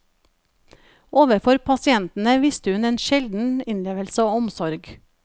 Overfor pasientene viste hun en sjelden innlevelse og omsorg.